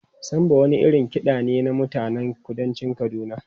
Samba wani irin kiɗa ne na mutanen kudancin Kaduna.